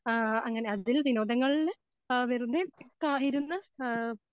ആ അങ്ങനെ അതിൽ വിനോദങ്ങളില് ആ വെറുതെ ക ഇരുന്ന് ആ